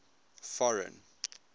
foreign